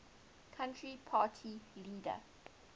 country party leader